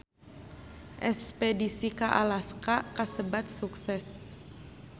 Espedisi ka Alaska kasebat sukses